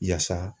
Yaasa